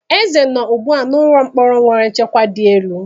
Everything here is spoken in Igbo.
Eze nọ ugbu a n'ụlọ mkpọrọ nwere nchekwa di elu.